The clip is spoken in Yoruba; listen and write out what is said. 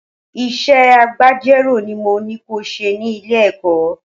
Iṣẹ́ agbejọ́rò ni mo ní ko ṣe ni Ilé-ẹ̀kọ́.